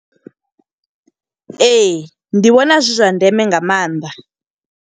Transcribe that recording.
Ee, ndi vhona zwi zwa ndeme nga maanḓa.